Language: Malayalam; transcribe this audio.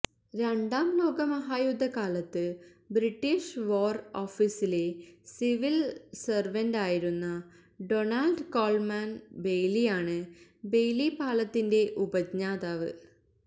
രണ്ടാം ലോകമഹായുദ്ധകാലത്ത് ബ്രിട്ടീഷ് വാര് ഓഫീസിലെ സിവില് െസര്വന്റായിരുന്ന ഡൊണാള്ഡ് കോള്മാന് ബെയ്ലിയാണ് ബെയ്ലി പാലത്തിന്റെ ഉപജ്ഞാതാവ്